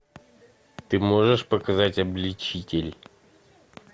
ты можешь показать обличитель